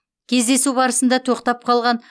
кездесу барысында тоқтап қалған